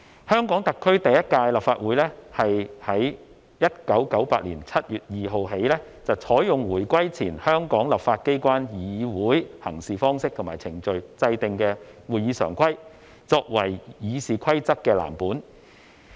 香港特區第一屆立法會是在1998年7月2日起採用回歸前香港立法機關議會行事方式及程序制訂的《會議常規》作為《議事規則》的藍本。